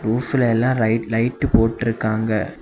உப்லெல்லாம் லை லைட்டு போட்ருக்காங்க.